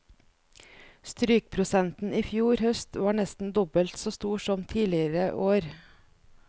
Strykprosenten i fjor høst var nesten dobbelt så stor som tidligere år.